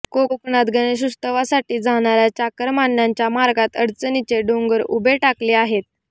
कोकणात गणेशोत्सवासाठी जाणाऱ्या चाकरमान्यांच्या मार्गात अडचणींचे डोंगर उभे ठाकले आहेत